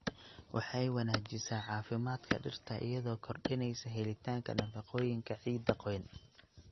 Waxay wanaajisaa caafimaadka dhirta iyadoo kordhinaysa helitaanka nafaqooyinka ciidda qoyan.